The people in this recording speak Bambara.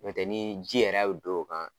N'o tɛ ni ji yɛrɛ bi don o kan